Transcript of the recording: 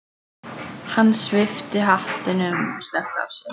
Hann svipti hattinum snöggt af sér.